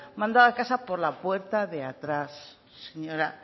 mandado a casa por la puerta de atrás señora